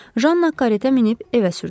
Janna karettaya minib evə sürdürdü.